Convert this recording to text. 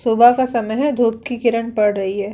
सुबह का समय है धुप की किरण पड़ रही है।